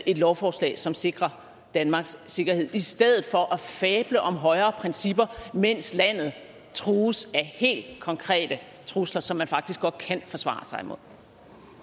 et lovforslag som sikrer danmarks sikkerhed i stedet for at fable om højere principper mens landet trues af helt konkrete trusler som man faktisk godt kan forsvare sig